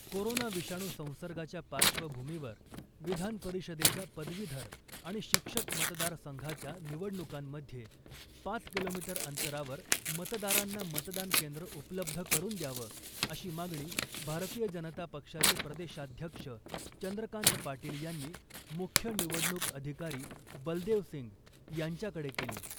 Corona विषाणू संसर्गाच्या पार्श्वभूमीवर विधान परिषदेच्या पदवीधर आणि शिक्षक मतदार संघाच्या निवडणुकांमध्ये पाच किलोमीटर अंतरावर मतदारांना मतदान केंद्र उपलब्ध करून द्यावं , अशी मागणी भारतीय जनता पक्षाचे प्रदेशाध्यक्ष चंद्रकांत पाटील यांनी मुख्य निवडणूक अधिकारी बलदेव सिंग यांच्याकडे केली .